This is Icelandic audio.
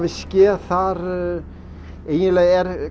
skeð þar eiginlega